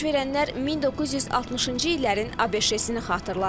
Baş verənlər 1960-cı illərin ABŞ-ni xatırlatdı.